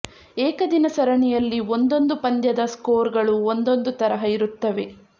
ಏಕದಿನ ಸರಣಿಯಲ್ಲಿ ಒಂದೊಂದು ಪಂದ್ಯದ ಸ್ಕೋರ್ ಗಳು ಒಂದೊಂದು ತರಹ ಇರುತ್ತದೆ